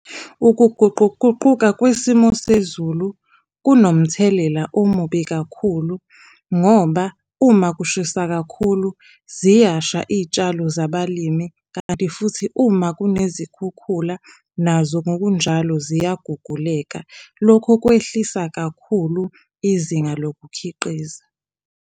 Ukuguquguquka kwisimo sezulu kunomthelela omubi kakhulu ngoba uma kushisa kakhulu ziyasha iy'tshalo zabalimi, kanti futhi uma kunezikhukhula nazo ngokunjalo ziyaguguleka, lokhu kwehlisa kakhulu izinga lokukhiqiza.